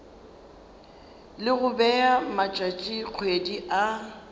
le go bea matšatšikgwedi a